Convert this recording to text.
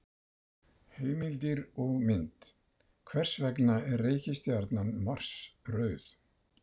Heimildir og mynd: Hvers vegna er reikistjarnan Mars rauð?